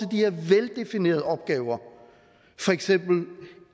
her veldefinerede opgaver for eksempel